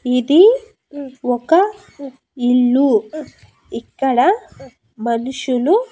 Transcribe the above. ఇది ఒక ఇల్లు ఇక్కడ మనుషులు.